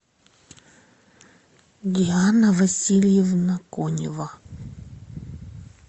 диана васильевна конева